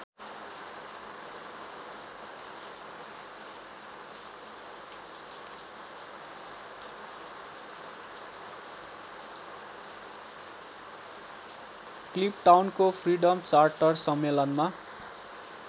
क्लिपटाउनको freedom charter सम्मेलनमा